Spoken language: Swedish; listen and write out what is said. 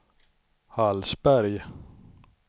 Hallsberg